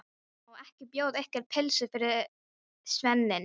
Má ekki bjóða ykkur pylsu fyrir svefninn?